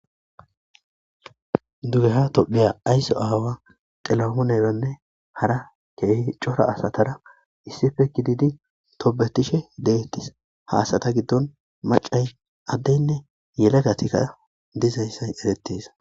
Duge ha tophiya aysso aawa xilahoneranne hara keehi cora asatara issife kididi topbetishe deettis haasata giddon macay addeynne yela gatikka dizaynsay erettis